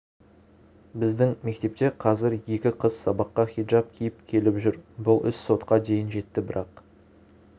біздің мектепте қазір екі қыз сабаққа хиджаб киіп келіп жүр бұл іс сотқа дейін жетті бірақ